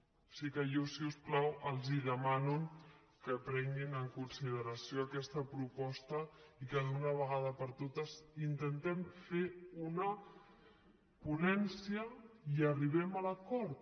o sigui que jo si us plau els demano que prenguin en consideració aquesta proposta i que d’una vegada per totes intentem fer una ponència i arribem a l’acord